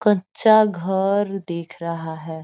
कच्चा घर देख रहा है।